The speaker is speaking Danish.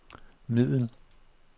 middel